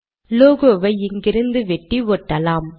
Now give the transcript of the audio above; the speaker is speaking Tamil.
லோகோ வை இங்கிருந்து வெட்டி ஒட்டலாம்